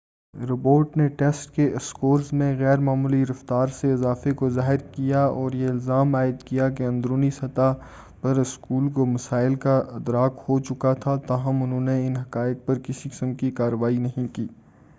report نے test کے scores میں غیر معمولی رفتار سے اضافے کو ظاہر کیا اور یہ الزام عائد کیا کہ اندرونی سطح پر اسکول کو مسائل کا ادراک ہو چکا تھا تاہم انہوں نے ان حقائق پر کسی قسم کی کارروائی نہیں کی